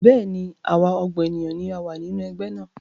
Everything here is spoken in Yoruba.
Bẹ́ẹ̀ni, àwa ọgbọ́n ènìyàn ni a wá nínú Ẹgbẹ́ náà